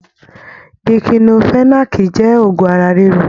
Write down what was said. Díkílofẹ̀nàákí jẹ òògùn ara riro.